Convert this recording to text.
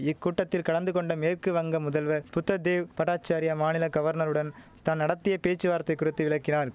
இக்கூட்டத்தில் கலந்து கொண்ட மேற்கு வங்க முதல்வர் புத்ததேவ் பட்டாசார்யா மாநில கவர்னருடன் தான் நடத்திய பேச்சுவார்த்தை குறித்து விளக்கினார்